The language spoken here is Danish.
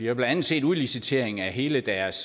jo blandt andet set udlicitering af hele deres